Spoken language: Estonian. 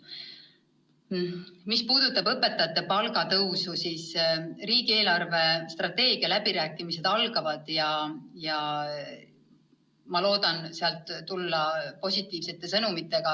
Mis puudutab õpetajate palga tõusu, siis riigi eelarvestrateegia läbirääkimised algavad peagi ja ma loodan sealt tulla positiivsemate sõnumitega.